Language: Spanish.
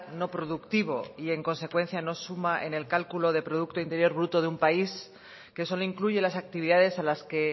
no productivo y en consecuencia no suma en el cálculo del producto interior bruto de un país que solo incluye las actividades a las que